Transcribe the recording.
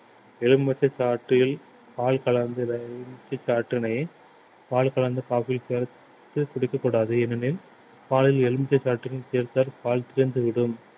எலுமிச்சைச்சாற்றில் பால் கலந்து இந்த எலுமிச்சை சாற்றினை பால் கலந்து குடிக்கக் கூடாது ஏனெனில் பாலில் எலுமிச்சை சாற்றினை சேர்த்தால் பால் திரிந்து விடும்